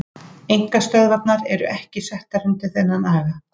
Einkastöðvarnar eru ekki settar undir þennan aga.